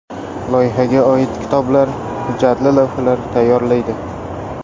Loyihaga oid kitoblar, hujjatli lavhalar tayyorlaydi.